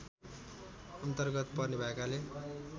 अन्तर्गत पर्ने भएकाले